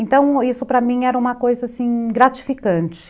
Então, isso para mim era uma coisa, assim, gratificante.